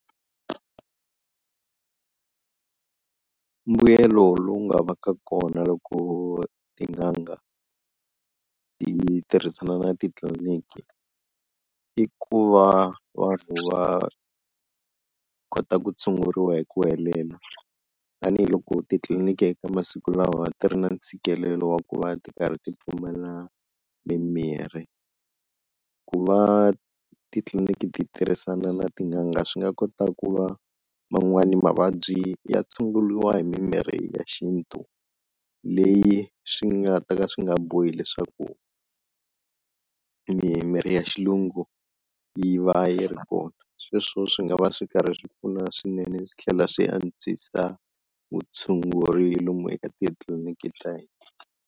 Mbuyelo lowu nga va ka kona loko tin'anga ti tirhisana na titliliniki i ku va vanhu va kota ku tshunguriwa hi ku helela tanihiloko titliliniki eka masiku lawa ti ri na ntshikelelo wa ku va ti karhi ti pfumala mimirhi, ku va titliliniki ti tirhisana na tin'anga swi nga kota ku va man'wani mavabyi ya tshunguriwa hi mimirhi ya xintu leyi swi nga ta ka swi nga bohi leswaku mimirhi ya xilungu yi va yi ri kona, sweswo swi nga va swi karhi swi pfuna swinene swi tlhela swi antswisa vutshunguri lomu eka titliliniki ta hina.